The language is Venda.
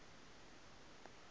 a nga ḓi vha ṱhanzi